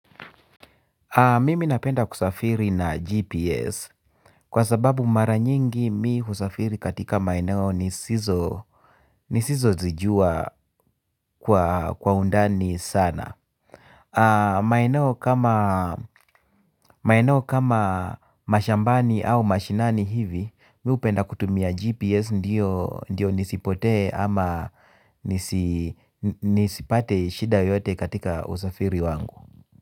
Mimi napenda kusafiri na GPS kwa sababu mara nyingi mi husafiri katika maeneo nisizo nisizozijua kwa undani sana. Maeneo kama mashambani au mashinani hivi mi hupenda kutumia GPS ndiyo nisipotee ama nisipate shida yoyote katika usafiri wangu.